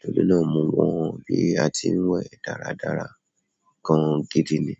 tòrí náà mọ mọ́ bí a ti ń wẹ̀ dáradára gan gidi ni.